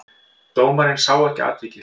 Dómarinn sá ekki atvikið.